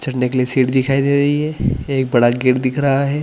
झंडे के लिए सीट दिखाई दे रही है एक बड़ा गेट दिख रहा है।